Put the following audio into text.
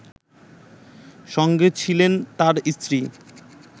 সঙ্গে ছিলেন তার স্ত্রী